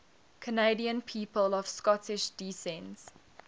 canadian people of scottish descent